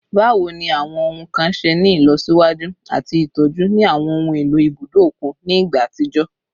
Bawo ni awọn ohun kan ṣe ni ilọsiwaju ati itọju ni awọn ohun elo ibudo okun ni igba atijọ?